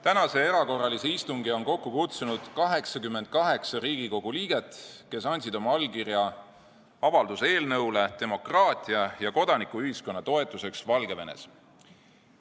Tänase erakorralise istungi on kokku kutsunud 88 Riigikogu liiget, kes andsid oma allkirja avalduse eelnõule "Demokraatia ja kodanikuühiskonna toetuseks Valgevenes".